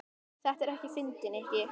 Þetta er ekkert fyndið, Nikki.